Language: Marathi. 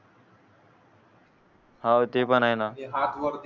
हवं ते पण ये ना